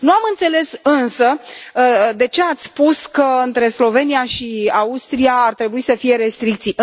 Nu am înțeles însă de ce ați spus că între Slovenia și Austria ar trebui să fie restricții.